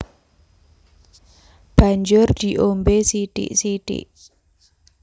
Banjur diombé sithik sithik